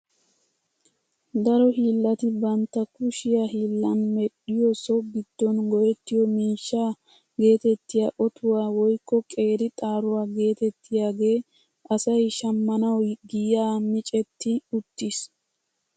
Daro hiillati bantta kushiyaa hiillan medhdhiyoo so giddon go"ettiyoo miishshaa getettiyaa otuwaa woykko qeeri xaaruwaa getettiyaage asay shammanawu giyaa micetti uttiis.